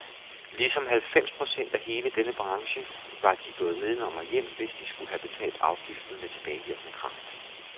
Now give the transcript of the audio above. Ligesom halvfems procent af hele denne branche var de gået nedenom og hjem, hvis de skulle have betalt afgiften med tilbagevirkende kraft.